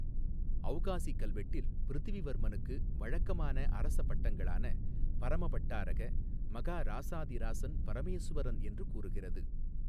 ஔகாசி கல்வெட்டில் பிரிதிவிவர்மனுக்கு வழக்கமான அரச பட்டங்களான பரம பட்டாரக மகாராசாதிராசன் பரமேசுவரன் என்று கூறுகிறது.